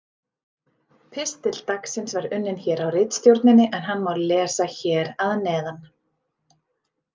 Pistill dagsins var unninn hér á ritstjórninni en hann má lesa hér að neðan: